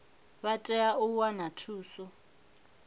vha tea u wana thuso